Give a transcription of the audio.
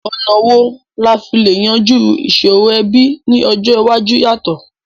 Ọ̀nà wo la fi le yanjú ìsòrò ẹbí ni ọjọ́ iwájú yàtọ̀?